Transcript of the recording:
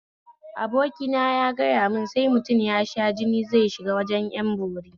Abokina ya gayamun sai mutum ya sha jini zai shiga wajen ƴan bori